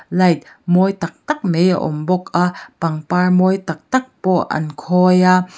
light mawi tak tak mei a awm bawk a pangpar mawi tak tak pawh an khawi a.